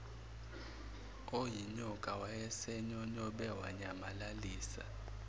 oyinyoka wayesenyonyobe wanyamalalisa